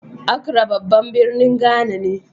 Acra babban birnin Ghana ne.